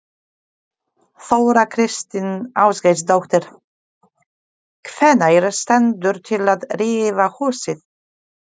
Þóra Kristín Ásgeirsdóttir: Hvenær stendur til að rífa húsið?